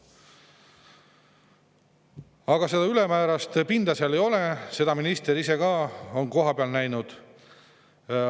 Aga seda ülemäärast pinda seal ei ole, seda minister ise ka on kohapeal näinud.